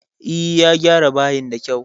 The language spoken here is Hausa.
E, ya gyara bayin da kyau